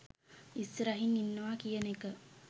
ඉස්සරහින් ඉන්නවා කියන එක